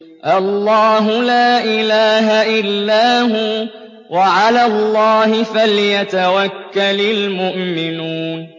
اللَّهُ لَا إِلَٰهَ إِلَّا هُوَ ۚ وَعَلَى اللَّهِ فَلْيَتَوَكَّلِ الْمُؤْمِنُونَ